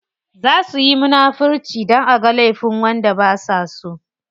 Za suyi munafirci dan aga laifin wanda basa so.